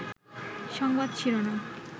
সংবাদ শিরোনাম